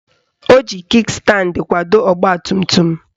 Ọ ji Kik standi kwado ọgbatumtum